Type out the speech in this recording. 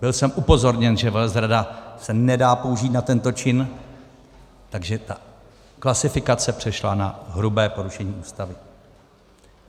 Byl jsem upozorněn, že velezrada se nedá použít na tento čin, takže ta klasifikace přešla na hrubé porušení Ústavy.